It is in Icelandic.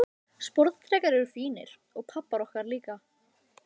Sporðdrekar eru fínir, og pabbar okkar líka.